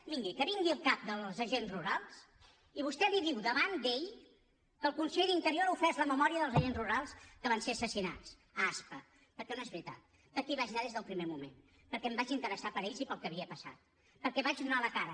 miri que vingui el cap dels agents rurals i vostè li diu davant d’ell que el conseller d’interior ha ofès la memòria dels agents rurals que van ser assassinats a aspa perquè no és veritat perquè hi vaig anar des del primer moment perquè em vaig interessar per ells i pel que havia passat perquè vaig donar la cara